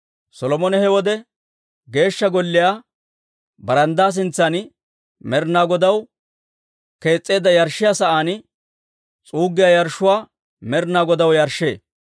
Solomone he wode Geeshsha Golliyaa baranddaa sintsan Med'inaa Godaw kees's'eedda yarshshiyaa sa'aan s'uuggiyaa yarshshuwaa Med'inaa Godaw yarshshee.